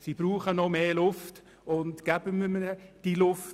Geben wir ihnen also diese Luft.